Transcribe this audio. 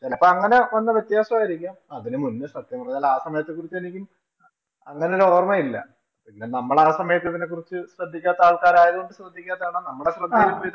ഇപ്പം അങ്ങനെ വന്ന വ്യത്യാസമായിരിക്കാം. അതിനു മുന്നേ സത്യം പറഞ്ഞാല്‍ ആ സമയത്തെ കുറിച്ച് എനിക്കും അങ്ങനെയൊരോര്‍മ്മേ ഇല്ല. പിന്നെ നമ്മള് ആ സമയത്ത് ഇതിനെ കുറിച്ച് ശ്രദ്ധിക്കാത്ത ആള്‍ക്കാര് ആയതുകൊണ്ട് ചോദിക്കാത്തത് ആണ്.